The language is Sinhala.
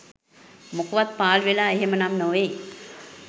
මොකවත් පාලුවෙලා එහෙම නම් නෙවෙයි.